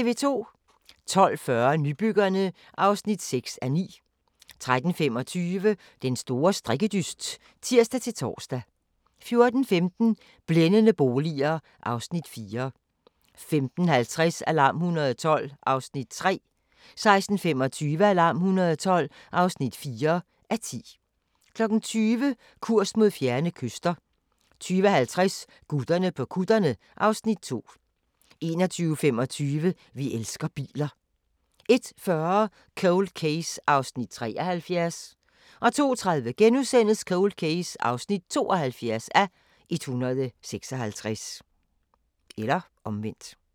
12:40: Nybyggerne (6:9) 13:25: Den store strikkedyst (tir-tor) 14:15: Blændende boliger (Afs. 4) 15:50: Alarm 112 (3:10) 16:25: Alarm 112 (4:10) 20:00: Kurs mod fjerne kyster 20:50: Gutterne på kutterne (Afs. 2) 21:25: Vi elsker biler 01:40: Cold Case (73:156) 02:30: Cold Case (72:156)*